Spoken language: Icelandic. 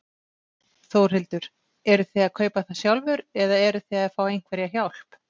Þórhildur: Eruð þið að kaupa það sjálfur eða eruð þið að fá einhverja hjálp?